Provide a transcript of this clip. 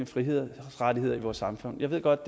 frihedsrettigheder i vores samfund jeg ved godt